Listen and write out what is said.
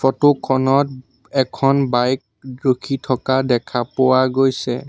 Photo খনত এখন bike ৰখি থকা দেখা পোৱা গৈছে।